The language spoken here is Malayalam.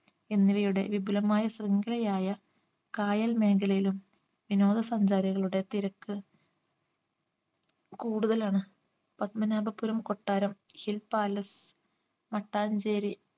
എന്നിവയുടെ വിപുലമായ ശൃംഖലയായ കായൽ മേഖലയിലും വിനോദ സഞ്ചാരികളുടെ തിരക്ക് കൂടുതലാണ് പത്മനാഭപുരം കൊട്ടാരം hill palace മട്ടാഞ്ചേരി